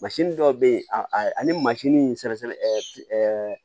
dɔw bɛ yen a ani mansin sɛnɛ